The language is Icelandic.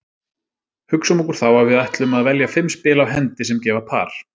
Hugsum okkur þá að við ætlum að velja fimm spil á hendi sem gefa par.